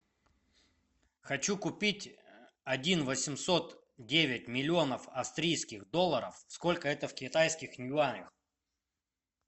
хочу купить один восемьсот девять миллионов австрийских долларов сколько это в китайских юанях